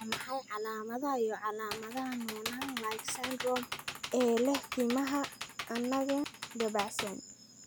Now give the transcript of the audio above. Waa maxay calaamadaha iyo calaamadaha Noonan like syndrome ee leh timaha anagen dabacsan?